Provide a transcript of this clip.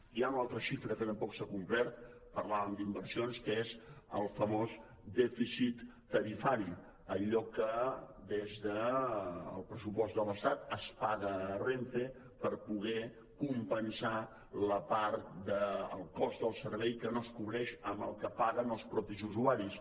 hi ha una altra xifra que tampoc s’ha complert parlàvem d’inversions que és el famós dèficit tarifari allò que des del pressupost de l’estat es paga a renfe per poder compensar la part del cost del servei que no es cobreix amb el que paguen els mateixos usuaris